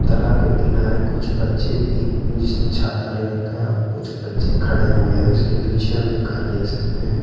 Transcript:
तालाब के किनारे कुछ बच्चे एक जिसने छाता ले रखा है और कुछ बच्चे खड़े हुए हैं इसके पीछे हम एक घर देख सकते है।